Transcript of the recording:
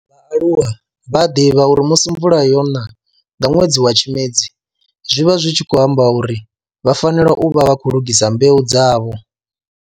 Vhaaluwa vha a ḓivha uri musi mvula yona nga nwedzi wa Tshimedzi zwi vha zwi tshi khou amba uri vha fanela u vha vha khou lugisa mbeu dzavho.